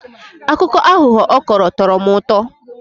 Akụkọ aghụghọ ọ kọrọ tọrọ m ụtọ.